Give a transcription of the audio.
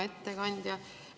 Hea ettekandja!